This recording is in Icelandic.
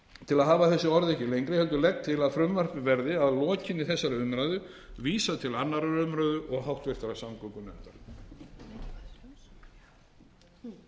til að hafa þessi orð ekki lengri heldur að frumvarpinu verði að lokinni þessari umræðu vísað til annarrar umræðu og háttvirtrar samgöngunefndar